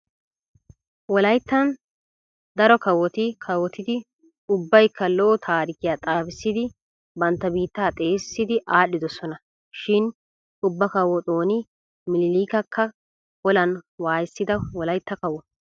Wolayttan daro kawoti kawotidi ubbaykka lo'o taarikiua xaafissidi bantta biittaa xeesissidi aadhdhidosona. Shin ubba kawo xooni miniiliikakka olan waayissida wolaytta kawo.